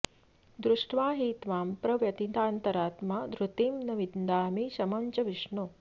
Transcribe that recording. दृष्ट्वा हि त्वां प्रव्यथितान्तरात्मा धृतिं न विन्दामि शमं च विष्णो